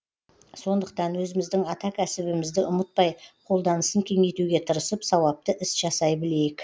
сондықтан өзіміздің ата кәсібімізді ұмытпай қолданысын кеңейтуге тырысып сауапты іс жасай білейік